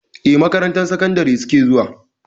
Eh, makarantar sakandari suke zuwa.